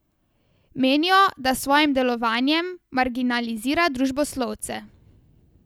Menijo, da s svojim delovanjem marginalizira družboslovce.